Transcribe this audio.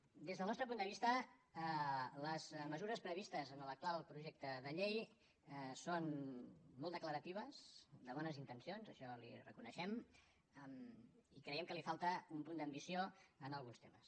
des del nostre punt de vista les mesures previstes en l’actual projecte de llei són molt declaratives de bones intencions això li ho reconeixem i creiem que li falta un punt d’ambició en alguns temes